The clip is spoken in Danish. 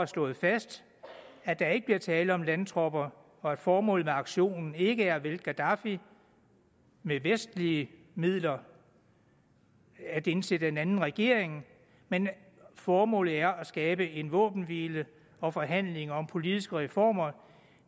slået fast at der ikke bliver tale om landtropper og at formålet med aktionen ikke er at vælte gaddafi med vestlige midler at indsætte en anden regering men at formålet er at skabe en våbenhvile og forhandlinger om politiske reformer